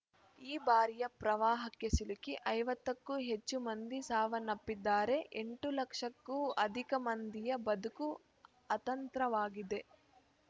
ಈ ಬಾರಿಯ ಪ್ರವಾಹಕ್ಕೆ ಸಿಲುಕಿ ಐವತ್ತು ಕ್ಕೂ ಹೆಚ್ಚು ಮಂದಿ ಸಾವನ್ನಪ್ಪಿದ್ದಾರೆ ಎಂಟು ಲಕ್ಷಕ್ಕೂ ಅಧಿಕ ಮಂದಿಯ ಬದುಕು ಅತಂತ್ರವಾಗಿದೆ